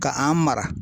Ka an mara